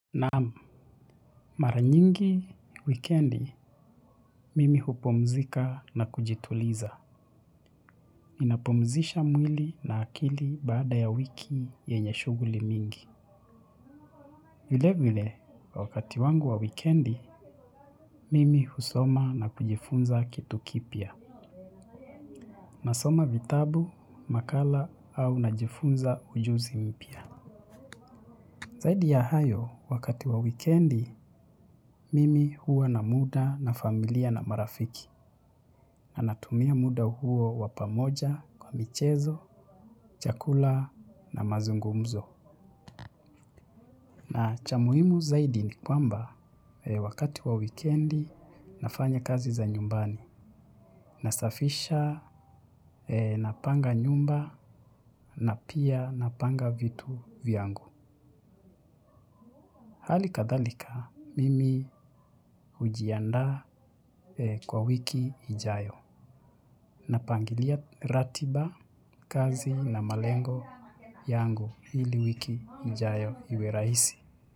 Naam, mara nyingi, wikendi, mimi hupumzika na kujituliza. Ninapumzisha mwili na akili baada ya wiki yenye shughuli mingi. Vile vile, wakati wangu wa wikendi, mimi husoma na kujifunza kitu kipya. Nasoma vitabu, makala au najifunza ujuzi mpya. Zaidi ya hayo, wakati wa wikendi, mimi huwa na muda na familia na marafiki. Na natumia muda huo wa pamoja kwa michezo, chakula na mazungumzo. Na cha muhimu zaidi ni kwamba wakati wa wikendi nafanya kazi za nyumbani. Nasafisha, napanga nyumba na pia napanga vitu vyangu. Hali kadhalika, mimi hujiandaa kwa wiki ijayo. Napangilia ratiba, kazi na malengo yangu ili wiki ijayo iwe rahisi.